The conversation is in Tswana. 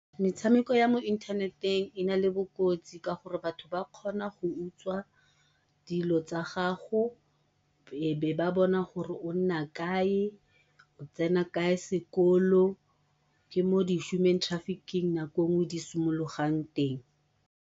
Metshameko ya mo inthaneteng e nale bokotsi ka gore ba kgona go utswa dilo tsa gago, e be ba bona gore o nna kae, o tsena kae sekolo. Ke mo di-human trafficking nako e nngwe di simologang teng.